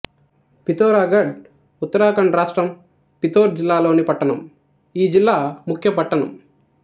పితోరాగఢ్ ఉత్తరాఖండ్ రాష్ట్రం పితోర్ జిల్లా లోని పట్టణం ఈ జిల్లా ముఖ్యపట్టణం